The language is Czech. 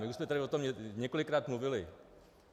My už jsme tady o tom několikrát mluvili.